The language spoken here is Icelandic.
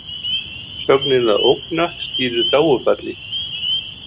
Sögnin að ógna stýrir þágufalli.